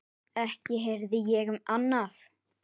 Ekki heyrði ég annað.